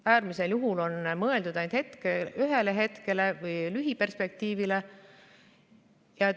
Äärmisel juhul on mõeldud ainult ühele hetkele või lühiperspektiivile.